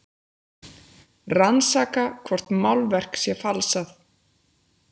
Rannsaka hvort málverk sé falsað